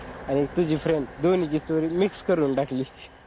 आणि एक तुझी friend दोन्हींची story mix करून टाकली.